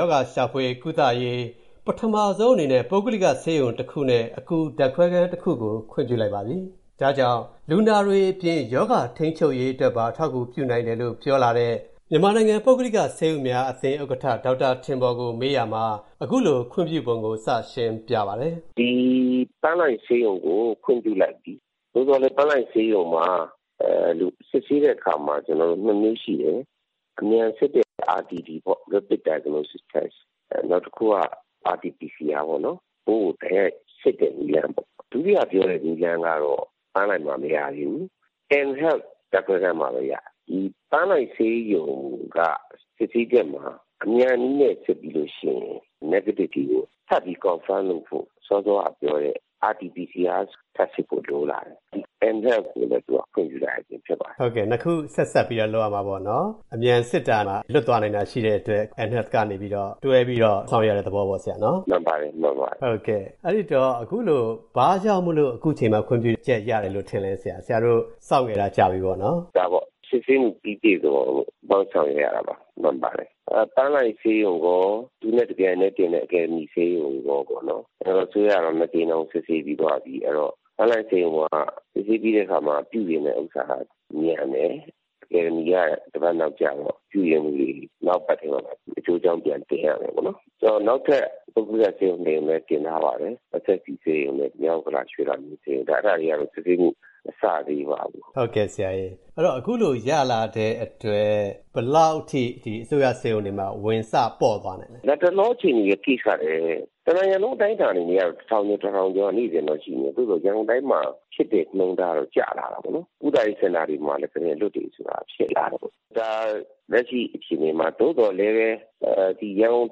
ရောဂါရှာဖွေကုသရေး ပထမဆုံးအနေနဲ့ ပုဂ္ဂလိကဆေးရုံတခုနဲ့ အကူဓာတ်ခွဲခန်းတခုကို ခွင့်ပြုလိုက်ပါပြီ။ ဒါကြောင့် လူနာတွေအပြင် ရောဂါထိန်းချုပ်ရေးအတွက်ပါ အထောက်အကူ ပြုနိုင်တယ်လို့ ပြောလာတဲ့ မြန်မာနိုင်ငံ ပုဂ္ဂလိကဆေးရုံများအသင်း ဥက္ကဋ္ဌ ဒေါက်တာထင်ပေါ်ကို ကိုဝင်းမင်းက မေးရာမှာ အခုလိုခွင့်ပြုပုံကို စရှင်းပြပါတယ်။ “ပန်းလှိုင်ဆေးရုံကို ခွင့်ပြုလိုက်ပြီ။ သို့သော်လည်း ပန်းလှိုင်ဆေးရုံံမှာ စစ်ဆေးတဲ့အခါ နှစ်နည်းရှိတယ်။ အမြန်စစ်တဲ့ RDT ပေ့ါ၊ Rapid Diagnostic Test၊ နောက်တခုက RT-PCR၊ ပိုးကို တိုက်ရိုက်စစ်တဲ့နည်းလမ်းပေါ့။ ဒုတိယပြောတဲ့ နည်းလမ်းကတော့ ပန်းလှိုင်မှာ မရသေးဘူး။ N Health ဓာတ်ခွဲခန်းမှာပဲ ရတယ်။ ပန်းလှိုင်ဆေးရုံက စစ်ဆေးချက်မှာ အမြန်နည်းနဲ့ စစ်ပြီးလို့ရှိရင် Negative တွေကို ထပ်ပြီး Confirm လုပ်ဖို့ RT-PCR ထပ်စစ်ဖို့ လိုလာတယ်။ ဒါကြောင့် N Health ကိုလည်း ခွင့်ပြုရခြင်း ဖြစ်ပါတယ်။” နှစ်ခု ဆက်စပ်ပြီး လုပ်ရမှာပေါ့။ အမြန်စစ်တာမှာ လွတ်သွားနိုင်တာ ရှိတဲ့အတွက် N Health က တွဲပြီး ဆောင်ရွက်ရတဲ့သဘောပေါ့။ “မှန်ပါတယ်။” အဲဒီတော့ အခုလို ဘာကြောင့် အခုချိန်မှ ခွင့်ပြုချက်ရတယ်လို့ ထင်လဲ။ ဆရာတို့ စောင့်ခဲ့တာ ကြာပြီပေါ့နော်။ “ဒါပေ့ါ စစ်ဆေးမှု ပြီးပြည့်စုံအောင်လို့ စောင့်ခဲ့ရတာပါ။ မှန်ပါတယ်။ ပန်းလှိုင်ဆေးရုံရော သူနဲ့တပြိုင်တည်းတင်တဲ့ အကယ်ဒမီဆေးရုံရော နိုင်ငံတော်အစိုးရကတော့ နှစ်ကြိမ်တောင် စစ်ဆေးပြီးသွားပြီ။ ပန်းလှိုင်ဆေးရုံက စစ်ဆေးပြီးတဲ့အခါမှာ ပြုပြင်တဲ့ဟာက မြန်တယ်။ အကယ်ဒမီက တပတ်နောက်ကျတော့ ပြုပြင်မှုတွေ နောက်အပတ်ထဲလောက်မှ အကျိုးအကြောင်း ပြန်တင်ရမယ်။ နောက်ထပ် ပုဂ္ဂလိကဆေးရုံနှစ်ရုံလည်း တင်ထားပါတယ်။ SSC ဆေးရုံနဲ့ မြောက်ဥက္ကလာ ရွှေလမင်းဆေးရုံ၊ အဲဒါတွေကတော့ စစ်ဆေးမှု မစရသေးပါဘူး။” အခုလို ရလာတဲ့အတွက် ဘယ်လောက်အထိ အစိုးရဆေးရုံတွေမှာ ဝန်စပေါ့သွားနိုင်မလဲ။ “လတ်တလောအခြေအနေ Case ကလည်း တနိုင်ငံလုံး အတိုင်းအတာနဲ့ တထောင်ကျော် တထောင်ကျော်က နေ့စဉ်လိုရှိတယ်။ သို့သော် ရန်ကုန်တိုင်းမှာ ဖြစ်တဲ့နှုန်းထားတော့ ကျလာတာပေါ့နော်။ ကုသရေးစင်တာတွေမှာလည်း ကုတင်အလွတ်တွေ ဖြစ်လာတယ်။ ဒါ လက်ရှိအခြေအနေမှာ၊ သို့သော်လည်း ရန်ကုန်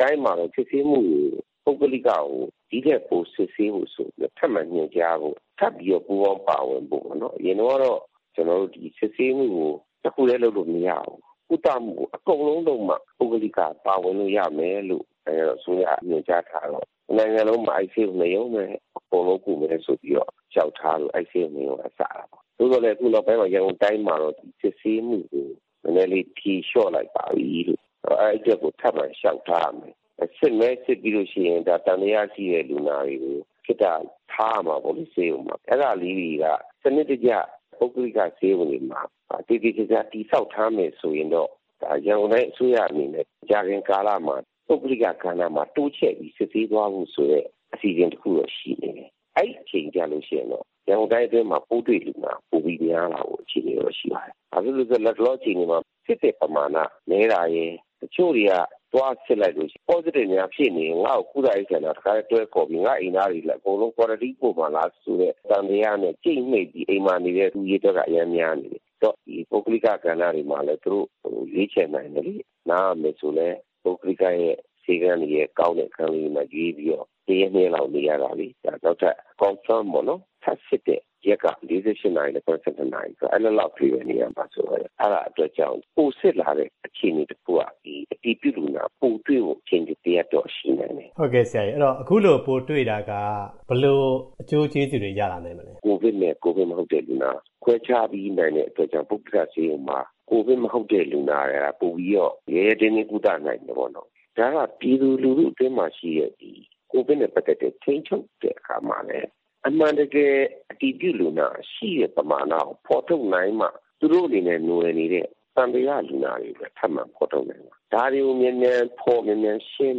တိုင်းမှာတော့ စစ်ဆေးမှုတွေ ပုဂ္ဂလိကကို ဒီ့ထက်ပို စစ်ဆေးဖို့ဆိုပြီးတော့ ထပ်မံညွှန်ကြားဖို့၊ ထပ်ပြီးတော့ ပူးပေါင်း ပါဝင်ဖို့ပေါ့၊ အရင်တုန်းကတော့ စစ်ဆေးမှုကို တခုတည်းလုပ်လို့မရဘူး။ ကုသမှုကို အကုန်လုံးလုပ်မှ ပုဂ္ဂလိက ပါဝင်လို့ရမယ်လို့ နိုင်ငံတော်အစိုးရက ညွှန်ကြားထားတော့ တနိုင်ငံလုံးမှာ အဲဒီဆေးရုံနှစ်ရုံပဲ အကုန်လုံးကုမယ်ဆိုပြီးတော့ လျှောက်ထားလို့ အဲဒီဆေးရုံနှစ်ရုံက စတာပေါ့။ သို့သော်လည်း အခုနောက်ပိုင်း ရန်ကုန်တိုင်းမှာတော့ စစ်ဆေးမှုကို နည်းနည်းလေး ဖြေလျှော့လိုက်ပါပြီ။ အဲဒီအတွက် ထပ်မံလျှောက်ထားရမယ်။ စစ်လည်း စစ်ပြီးလို့ရှိရင် သံသယရှိတဲ့ လူနာတွေကို ခေတ္တထားရမှာပေါ့လေ ဆေးရုံမှာ၊ အဲဒါလေးတွေက စနစ်တကျ ပုဂ္ဂလိက ဆေးရုံတွေမှာ သေသေချာချာ တည်ဆောက်ထားမယ်ဆိုရင်တော့ ရန်ကုန်တိုင်းအစိုးရ အနေနဲ့ မကြာခင်ကာလမှာ ပုဂ္ဂလိကကဏ္ဍမှာ တိုးချဲ့ပြီး စစ်ဆေးသွားဖို့ဆိုတဲ့ အစီအစဉ်တခုတော့ ရှိနေပြီ။ “အဲဒီအချိန်ကျရင်တော့ ရန်ကုန်တိုင်းအတွင်းမှာ ပိုးတွေ့လူနာ ပိုပြီးများလာဖို့ အခြေအနေတော့ ရှိပါတယ်။ ဘာဖြစ်လို့လဲဆိုတော့ လတ်တလော အခြေအနေမှာ စစ်တဲ့ပမာဏ နည်းတာရယ်၊ တချို့တွေက သွားစစ်လိုက်လို့ Positive များဖြစ်နေရင် ငါ့ကို ကုသရေးစင်တာ တခါတည်းခေါ်ပြီး ငါ့အိမ်သားတွေလည်း ကွာရမ်တင်းစင်တာ တခါတည်းပို့မှာလား ဆိုတဲ့ သံသယနဲ့ ကြိတ်မှိတ်ပြီး အိမ်မှာနေတဲ့ လူအရေအတွက်က အရမ်းများနေတယ်။ အဲ့တော့ ဒီ ပုဂ္ဂလိကကဏ္ဍတွေမှာလည်း သူတို့ ရွေးချယ်နိုင်မယ်လေ။ နားရမယ်ဆိုလည်း ပုဂ္ဂလိကရဲ့ ဆေးခန်းရဲ့ ကောင်းတဲ့အခန်းလေးတွေမှာ ရွေးပြီးတော့ တရက် နှစ်ရက်လောက် နေရတာလေ။ နောက်ထပ် Confirm ပေါ့ ထပ်စစ်တဲ့ရက်က ၄၈ နာရီကနေ ၇၂ နာရီဆိုတော့ အဲဒီလောက်လေးပဲ နေရာမှာဆိုတော့ အဲဒီအတွက်ကြောင့် ပိုစစ်လာတဲ့ အခြေအနေတခုက အတည်ပြုလူနာ ပိုတွေ့ဖို့ အခြေအနေတရပ်တော့ ရှိနိုင်တယ်။” အဲတော့ အခုလို ပိုတွေ့တာက ဘယ်လိုအကျိုးကျေးဇူးတွေ ရလာနိုင်မလဲ။ “ကိုဗစ်နဲ့ ကိုဗစ်မဟုတ်တဲ့လူနာ ခွဲခြားပေးနိုင်တဲ့အတွက်ကြောင့် ပုဂ္ဂလိကဆေးရုံမှာ ကိုဗစ်မဟုတ်တဲ့ လူနာက ပိုပြီးတော့ ရဲရဲတင်းတင်း ကုသနိုင်မယ်ပေါ့နော်။ ဒါက ပြည်သူလူထုအတွင်းမှာရှိတဲ့ ကိုဗစ်နဲ့ပတ်သက်တဲ့ ထိန်းချုပ်တဲ့အခါမှာလည်း အမှန်တကယ် အတည်ပြုလူနာရှိတဲ့ ပမာဏကို ဖော်ထုတ်နိုင်မှ သူတို့နဲ့နွယ်နေတဲ့ သံသယလူနာတွေလည်း ထပ်မံဖော်ထုတ်နိုင်မှာ။ ဒါတွေကို မြန်မြန်ဖော်၊ မြန်မြန်ရှင်း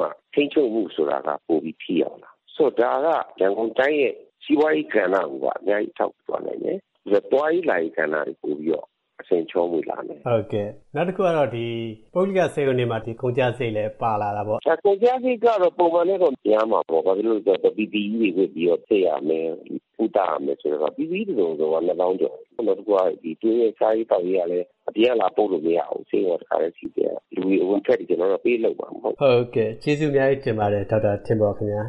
မှ ထိန်းချုပ်မှုဆိုတာက ပိုပြီး ထိရောက်မှာ။ ဆိုတော့ ဒါက ရန်ကုန်တိုင်းရဲ့ စီးပွားရေးကဏ္ဍကိုပါ အများကြီး အထောက်အကူ ဖြစ်သွားနိုင်တယ်။ သွားရေးလာရေးကဏ္ဍတွေ ပိုပြီးတော့ အဆင်ချောမွေ့လာမယ်။” နောက်တခုက ပုဂ္ဂလိက ဆေးရုံတွေမှာ ကုန်ကျစရိတ်လည်း ပါလာတာပေါ့။ “ကုန်ကျစရိတ်က ပုံမှန်ထက်တော့ များမှာပေါ့။ ဘာဖြစ်လို့လဲဆိုတော့ PPE တွေဝတ်ပြီး စစ်ရမယ်၊ ကုသရမယ်ဆိုတော့ PPE တစုံကိုက နှစ်သောင်းကျော်၊ နောက်တခုက သူတို့ရဲ့ စားရေးသောက်ရေးကလည်း အပြင်က လာပို့လို့ မရဘူး။ ဆေးရုံက တခါတည်း စီစဉ်ရမှာ။ လူတွေအဝင်အထွက်တွေ ကျနော်တို့ ပေးလုပ်မှာမဟုတ်ဘူး။” ကျေးဇူးအများကြီးတင်ပါတယ် ဒေါက်တာထင်ပေါ်ခင်ဗျား။